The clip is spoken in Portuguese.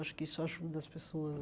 Acho que isso ajuda as pessoas